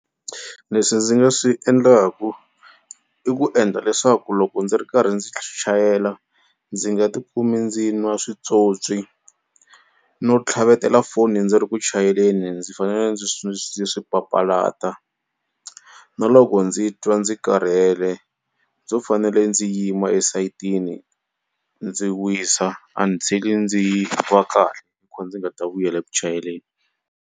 Leswi ndzi nga swi endlaku i ku endla leswaku loko ndzi ri karhi ndzi swi chayela ndzi nga tikumi ndzi nwa switswotswi no tlhavetela foni ndzi ri ku chayeleni ndzi fanele ndzi ndzi swi papalata na loko ndzi twa ndzi karhele ndzo fanele ndzi yima esayitini ndzi wisa until-i ndzi va kahle ko ndzi nga ta vuyela eku chayeleni.